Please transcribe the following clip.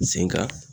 Sen ka